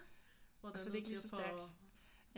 Og så er det ikke lige så stærkt